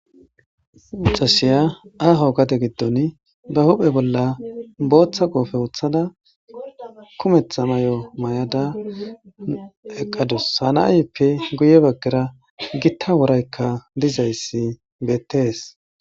issi macasiya aaho gate giddon ba huphe bolla booththa qoofe uththada kumetha may7o may7ada eqqadus hana7ayppe guye baggera gitta woraykka dizayssi beettees